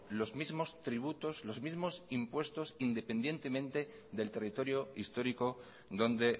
los mismos tributos los mismos impuestos independientemente del territorio histórico donde